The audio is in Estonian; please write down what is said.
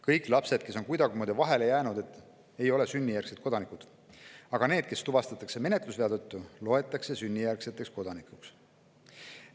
Kõik lapsed, kes on kuidagimoodi vahele jäänud, ei ole sünnijärgsed kodanikud, aga need, kes tuvastatakse menetlusvea tõttu, loetakse sünnijärgseteks kodanikeks.